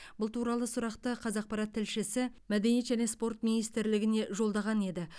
бұл туралы сұрақты қазақпарат тілшісі мәдениет және спорт министрлігіне жолдаған еді